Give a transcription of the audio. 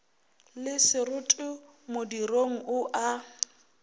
le seroto modirong o a